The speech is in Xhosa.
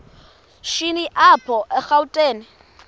shini apho erawutini